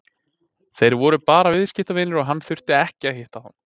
Þeir voru bara viðskiptavinir og hann þurfti ekki að hitta þá.